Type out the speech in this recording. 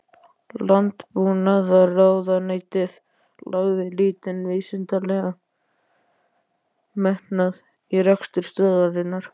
Landbúnaðarráðuneytið lagði lítinn vísindalegan metnað í rekstur stöðvarinnar.